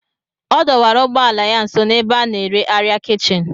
Ọ dọwara ụgbọ ala ya nso n'ebe a na-ere arịa kichin